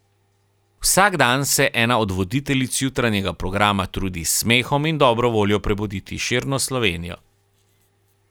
Vsak dan se ena od voditeljic jutranjega programa trudi s smehom in dobro voljo prebuditi širno Slovenijo.